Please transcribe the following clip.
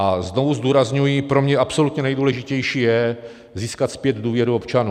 A znovu zdůrazňuji, pro mě absolutně nejdůležitější je získat zpět důvěru občanů.